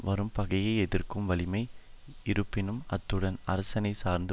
வரும்பகையை எதிர்க்கும் வலிமை இருப்பினும் அத்துடன் அரசணைச் சார்ந்து